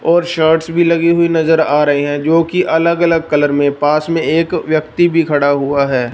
और शर्ट्स भी लगी हुई नजर आ रही हैं जो कि अलग अलग कलर में पास में एक व्यक्ति भी खड़ा हुआ है।